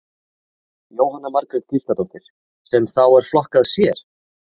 Jóhanna Margrét Gísladóttir: Sem að þá er flokkað sér?